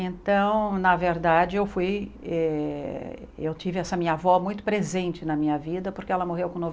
Então, na verdade, eu fui eh eu tive essa minha avó muito presente na minha vida porque ela morreu com